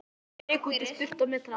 Ég rauk í sturtu á methraða.